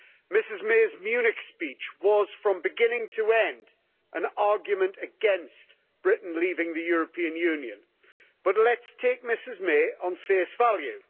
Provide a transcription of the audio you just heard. Ms May's Munich speech was, from beginning to end, an argument against Britain leaving the European Union. But let's take her at face value.